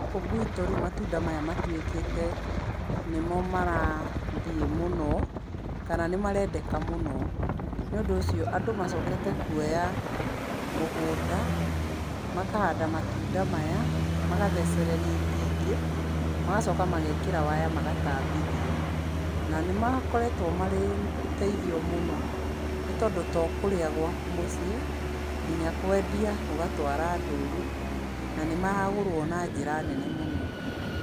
Gũkũ gwitũ rĩu matunda maya matuĩkĩte nĩmo marathiĩ mũno, kana nĩ marendeka mũno. Nĩ ũndũ ũcio andũ macokete kuoya mũgũnda makahanda matunda maya, magathecereria itingĩ, magacoka magekĩra waya magatambithia. Na nĩ makoretwo marĩ ũteithio mũno nĩ tondũ to kũrĩa gwaku mũciĩ, nginya kwendia, ũgatwara ndũnyũ, na nĩ maragũrwo na njĩra nene mũno.